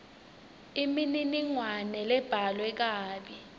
imininingwane lebhalwe kabi